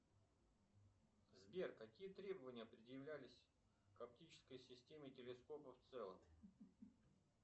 сбер какие требования предъявлялись к оптической системе телескопа в целом